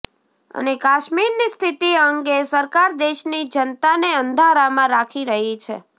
અને કાશ્મીરની સ્થિતિ અંગે સરકાર દેશની જનતાને અંધારામાં રાખી રહી છે